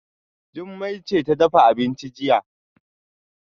Jummai ce ta dafa abincin jiya